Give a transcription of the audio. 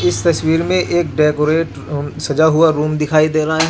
इस तस्वीर में एक डेकोरेट अम्-सजा हुआ रूम दिखाईं दे रहा है.